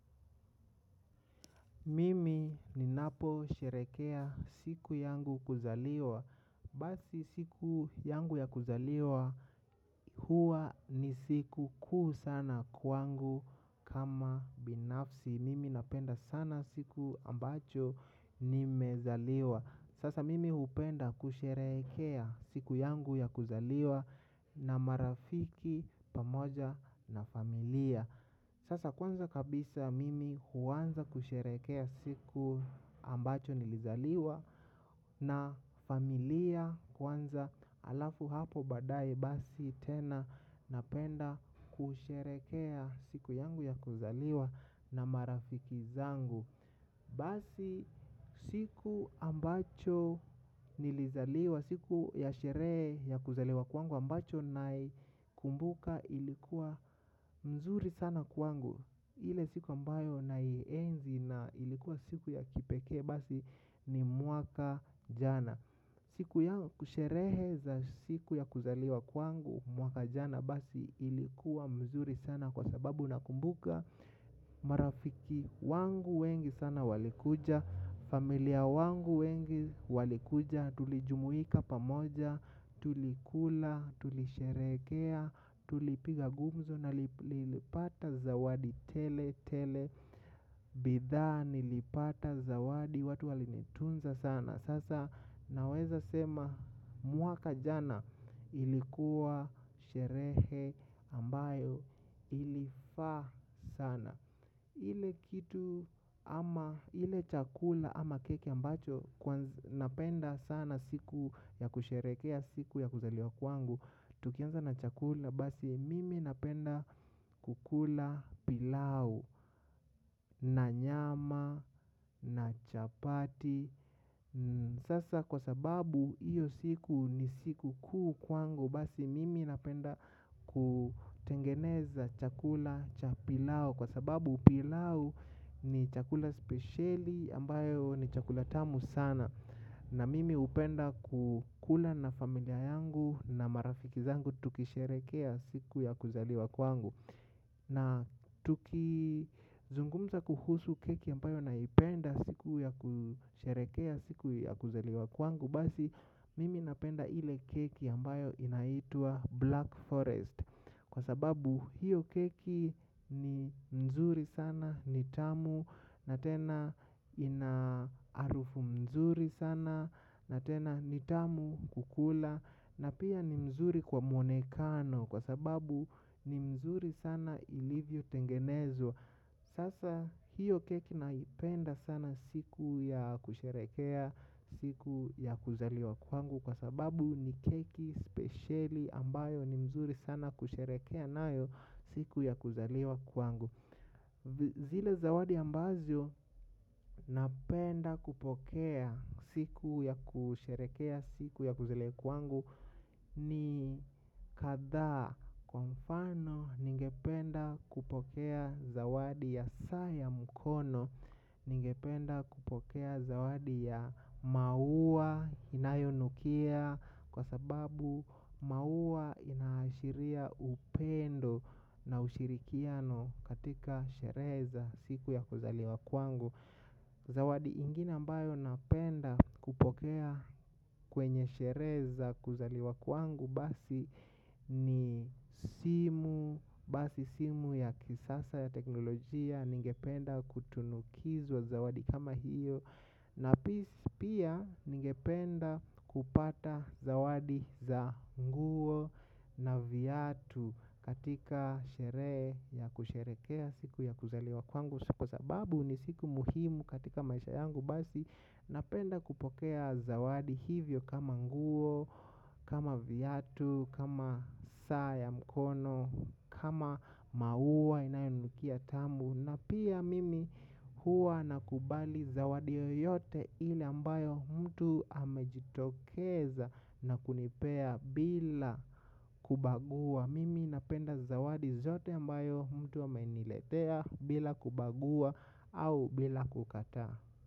Mimi ninaposherekea siku yangu kuzaliwa. Basi siku yangu ya kuzaliwa huwa ni siku kuu sana kwangu kama binafsi. Mimi napenda sana siku ambacho nimezaliwa. Sasa mimi hupenda kusherekea siku yangu ya kuzaliwa na marafiki pamoja na familia. Sasa kwanza kabisa mimi huanza kusherekea siku ambacho nilizaliwa na familia kwanza alafu hapo baadaye basi tena napenda kusherekea siku yangu ya kuzaliwa na marafiki zangu. Basi siku ambacho nilizaliwa siku ya sherehe ya kuzaliwa kwangu ambacho naikumbuka ilikuwa mzuri sana kwangu. Ile siku ambayo naienzi na ilikuwa siku ya kipekee basi ni mwaka jana. Siku ya kusherehe za siku ya kuzaliwa kwangu mwaka jana basi ilikuwa mzuri sana kwa sababu nakumbuka. Marafiki wangu wengi sana walikuja. Familia wangu wengi walikuja. Tulijumuika pamoja tulikula, tulisherekea. Tulipiga gumzo na nilipata zawadi tele tele. Bidhaa nilipata zawadi watu walinitunza sana. Sasa naweza sema mwaka jana ilikuwa sherehe ambayo ilifaa sana. Ile kitu ama ile chakula ama keki ambacho napenda sana siku ya kusherekea siku ya kuzaliwa kwangu. Tukianza na chakula basi mimi napenda kukula pilau na nyama na chapati. Sasa kwa sababu hiyo siku ni siku kuu kwangu basi mimi napenda kutengeneza chakula cha pilau kwa sababu pilau ni chakula spesheli ambayo ni chakula tamu sana. Na mimi hupenda kukula na familia yangu na marafiki zangu tukisherekea siku ya kuzaliwa kwangu. Na tukizungumza kuhusu keki ambayo naipenda siku ya kusherekea siku ya kuzaliwa kwangu. Basi mimi napenda ile keki ambayo inaitwa Black Forest. Kwa sababu hiyo keki ni nzuri sana, ni tamu, na tena ina harufu mzuri sana, na tena ni tamu kukula. Na pia ni mzuri kwa mwonekano kwa sababu ni mzuri sana ilivyotengenezwa sasa hiyo keki naipenda sana siku ya kusherekea siku ya kuzaliwa kwangu kw sababu ni keki spesheli ambayo ni nzuri sana kusherekea nayo siku ya kuzaliw kwangu. Zile zawadi ambazo napenda kupokea siku ya kusherekea siku ya kuzaliwa kuwangu. Ni kadhaa kwa mfano ningependa kupokea zawadi ya saa ya mkono. Ningependa kupokea zawadi ya maua inayonukia. Kwa sababu maua inaashiria upendo na ushirikiano katika sherehe za siku ya kuzaliwa kwangu. Zawadi ingine ambayo napenda kupokea kwenye sheree za kuzaliwa kwangu basi ni simu. Basi simu ya kisasa ya teknolojia ningependa kutunukizwa zawadi kama hiyo. Na pia pia ningependa kupata zawadi za nguo na viatu katika shere ya kusherekea siku ya kuzaliwa kwangu. Kwa sababu ni siku muhimu katika maisha yangu basi napenda kupokea zawadi hivyo kama nguo, kama viatu, kama saa ya mkono, kama maua inayonukia tamu. Na pia mimi huwa nakubali zawadi yoyote ile ambayo mtu amejitokeza na kunipea bila kubagua. Mimi napenda zawadi zote ambayo mtu ameiniletea bila kubagua au bila kukataa.